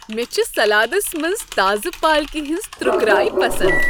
مےٚ چھ سلادس منٛز تازٕ پالکِہ ہٕنز ترُکراے پسند ۔